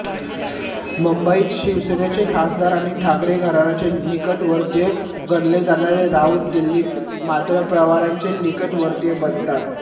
मुंबईत शिवसेनेचे खासदार आणि ठाकरे घराण्याचे निकटवर्तीय गणले जाणारे राऊत दिल्लीत मात्र पवारांचे निकटवर्तीय बनतात